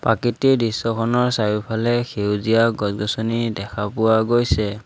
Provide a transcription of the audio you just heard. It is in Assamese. প্ৰাকৃতিক দৃশ্যখনৰ চাৰিওফালে সেউজীয়া গছ-গছনি দেখা পোৱা গৈছে।